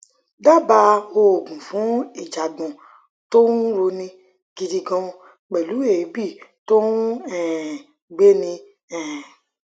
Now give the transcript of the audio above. dábàá òògùn fún ìjàgbọn tó ń roni gidi gan pẹlú èébì tó ń um gbéni um